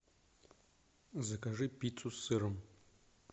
закажи пиццу с сыром